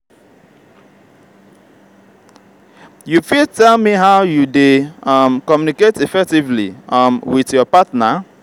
you fit tell me how you dey um communicate effectively um with your partner?